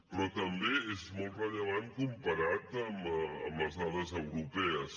però també és molt rellevant comparat amb les dades europees